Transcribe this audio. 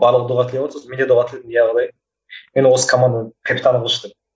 барлығы дұға тілеватты сосын менде дұға тіледім иә құдай мені осы команданың капитаны қылшы деп